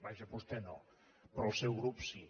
vaja vostè no però el seu grup sí